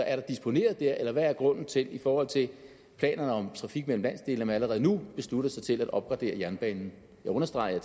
er der disponeret der eller hvad er grunden til i forhold til planerne om trafik mellem landsdelene allerede nu beslutter sig til at opgradere jernbanen jeg understreger